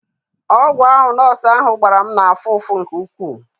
Ọgwụ ahụ nọọsụ ahụ gbara m na-afụ ụfụ nke ukwuu.